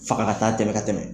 Faga ka taa tɛmɛ ka tɛmɛ